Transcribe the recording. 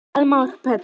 Alma og Pétur.